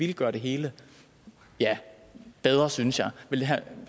det gøre det hele ja bedre synes jeg vil herre